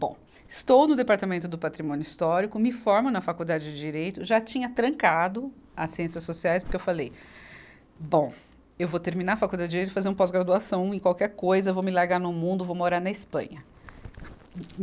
Bom, estou no Departamento do Patrimônio Histórico, me formo na Faculdade de Direito, já tinha trancado as ciências sociais porque eu falei, bom, eu vou terminar a Faculdade de Direito e fazer uma pós-graduação em qualquer coisa, vou me largar no mundo, vou morar na Espanha.